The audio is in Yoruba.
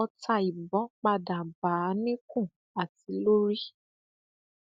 ọtá ìbọn padà bá a níkùn àti lórí